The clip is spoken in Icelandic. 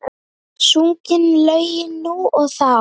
Sungin lögin nú og þá.